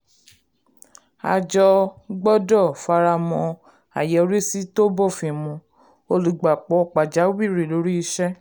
àjọ gbọ́dọ̀ faramọ́ àyọrísí tó bófin mu olùgbapò pàjáwìrì lórí iṣẹ́.